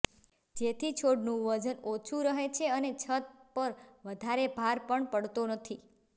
જેથી છોડનું વજન ઓછું રહે છે અને છત પર વધારે ભાર પણ પડતો નથી